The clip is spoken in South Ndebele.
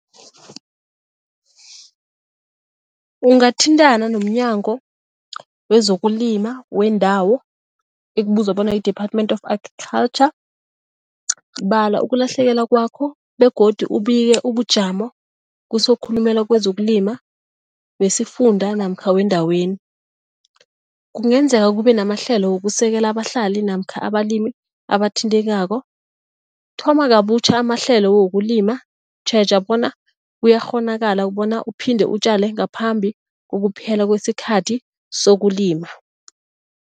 Ungathintana nomNyango wezokuLima wendawo ekubizwa bona yi-Department of Agriculture, bala ukulahlekelwa kwakho begodu ubike ubujamo kusokhulumela kwezokulima wesifunda namkha wendaweni. Kungenzeka kube namahlelo wokusekela abahlali namkha abalimi abathintekako, thoma kabutjha amahlelo wokulima tjheja bona kuyakghonakala bona uphinde utjale ngaphambi kokuphela kwesikhathi sokulima.